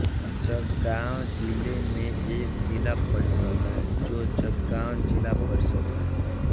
जळगाव जिले में एक जिला परिषद है जो जळगाव जिला परिषद है